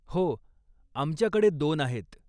हो, आमच्याकडे दोन आहेत.